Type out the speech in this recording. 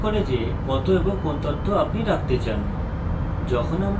যখন আমি ক্ষেত্র বানাই একটি সামান্য ফাঁকা নথি আনবো